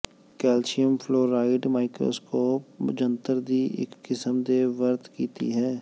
calcium fluoride microscope ਜੰਤਰ ਦੀ ਇੱਕ ਕਿਸਮ ਦੇ ਵਰਤ ਕੀਤੀ ਹੈ